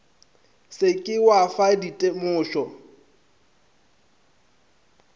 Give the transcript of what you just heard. se ke wa fa ditemošo